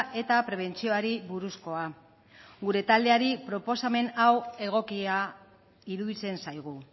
eta prebentzioari buruzkoa gure taldeari proposamen hau egokia iruditzen zaigu